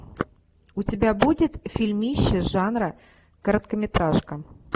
у тебя будет фильмище жанра короткометражка